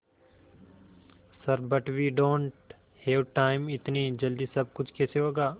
sir but we don't have time इतनी जल्दी सब कुछ कैसे होगा